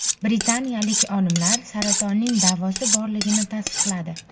Britaniyalik olimlar saratonning davosi borligini tasdiqladi.